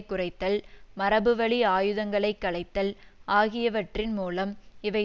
குறைத்தல் மரபுவழி ஆயுதங்களை களைத்தல் ஆகியவற்றின் மூலம் இவை